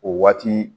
O waati